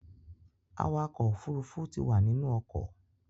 Awakọ̀-òfurufú ti wà nínú ọkọ̀.